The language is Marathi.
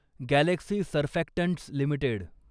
Galaxy Surfactants limited